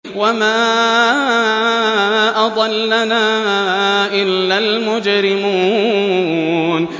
وَمَا أَضَلَّنَا إِلَّا الْمُجْرِمُونَ